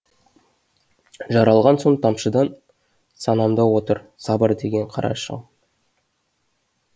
жаралған соң тамшыдан санамда отыр сабыр деген қаршығам